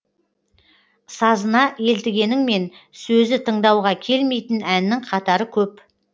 сазына елтігеніңмен сөзі тыңдауға келмейтін әннің қатары көп